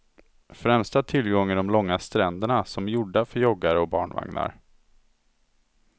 Främsta tillgång är de långa stränderna, som gjorda för joggare och barnvagnar.